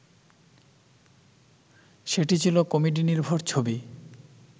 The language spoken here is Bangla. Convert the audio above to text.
সেটি ছিল কমেডিনির্ভর ছবি